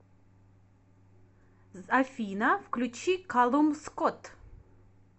афина включи калум скотт